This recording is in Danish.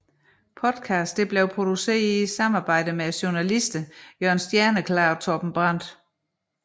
Podcasten blev produceret i samarbejde med journalisterne Jørn Stjerneklar og Torben Brandt